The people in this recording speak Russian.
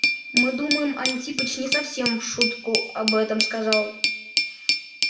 мы думаем антипыч не совсем в шутку об этом сказал